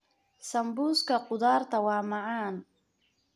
Sambuuska khudaarta waa macaan.